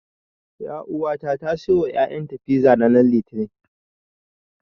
Ƴauwata ta siyo wa ƴaƴanta fiza ranar Litinin.